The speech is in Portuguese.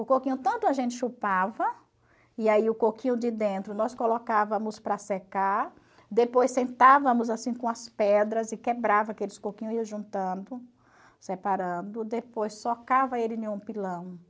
O coquinho tanto a gente chupava, e aí o coquinho de dentro nós colocávamos para secar, depois sentávamos assim com as pedras e quebrava aqueles coquinhos, ia juntando, separando, depois socava ele em um pilão.